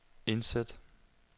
indsæt